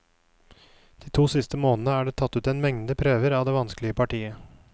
De siste to månedene er det tatt en mengde prøver av det vanskelige partiet.